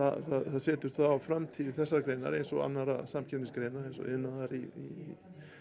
setur framtíð þessarar greinar eins og annarra samkeppnisgreina eins og iðnaðar í